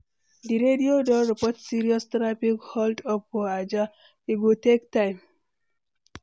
Di radio don report serious traffic hold-up for Ajah, e go take time.